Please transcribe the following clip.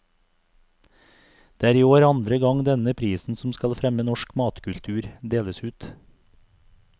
Det er i år andre gang denne prisen som skal fremme norsk matkultur, deles ut.